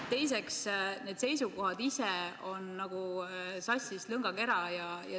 Teiseks, need seisukohad ise on nagu sassis lõngakera.